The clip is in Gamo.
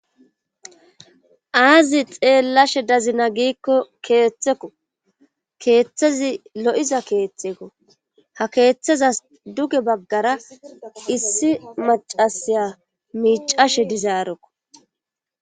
Aazi xeellashe dazina giikko keeththekko keeththezi lo7iza keeththekko ha keeththeza duge baggara issi macasaya miicashe dizaarekko.